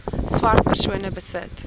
swart persone besit